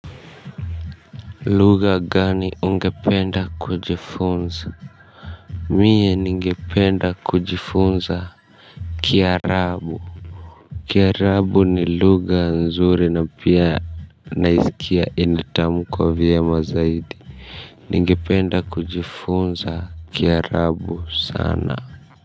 Lugha gani ungependa kujifunza? Mie ningependa kujifunza Kiarabu Kiarabu ni lugha nzuri na pia naisikia inatamkwa vyema zaidi. Ningependa kujifunza kiarabu sana.